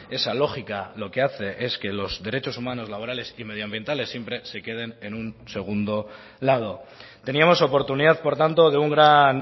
esa lógica lo que hace es que los derechos humanos laborales y medioambientales siempre se queden en un segundo lado teníamos oportunidad por tanto de un gran